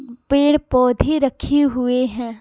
पेड़-पौधे रखे हुए हैं।